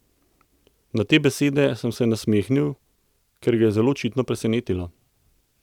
Na te besede sem se nasmehnil, kar ga je zelo očitno presenetilo.